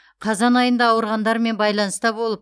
қазан айында ауырғандармен байланыста болып